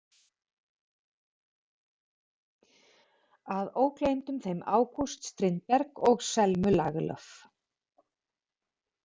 Að ógleymdum þeim August Strindberg og Selmu Lagerlöf.